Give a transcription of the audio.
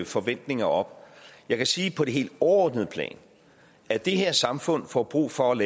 forventninger op jeg kan sige på det helt overordnede plan at det her samfund får brug for at